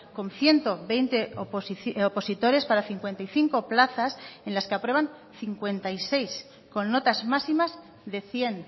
con ciento veinte opositores para cincuenta y cinco plazas en las que aprueban cincuenta y seis con notas máximas de cien